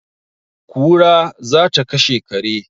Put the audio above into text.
kura za ta kashe kare